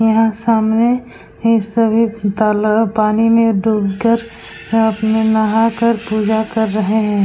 यहाँ सामने ये सभी तालाब पानी में डूब कर रात में नहाकर पूजा कर रहे हैं।